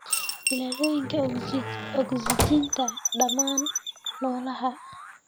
Ilooyinka ogsajiinta dhammaan noolaha.